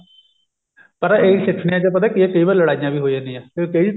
ਪਰ ਇਹ ਸਿੱਠਨੀਆ ਪਤਾ ਕੀ ਹੈ ਕਈ ਵਾਰ ਲੜਾਈਆਂ ਵੀ ਹੋ ਜਾਂਦੀਆਂ